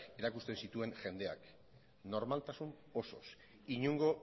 erakusten zituen jendeak normaltasun osoz inongo